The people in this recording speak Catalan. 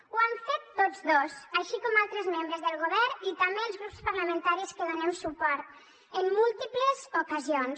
ho han fet tots dos així com altres membres del govern i també els grups parlamentaris que donem suport en múltiples ocasions